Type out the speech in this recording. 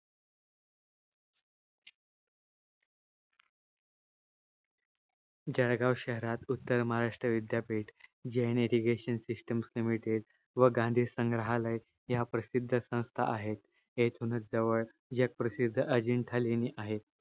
जळगाव शहरात उत्तर महाराष्ट्र विद्यापीठ जैन irrigation system limited व गांधी संग्रालय या प्रसिध्द संस्था आहेत येथुनच जवळ जग प्रसिध्द अजिंठा लेणी आहे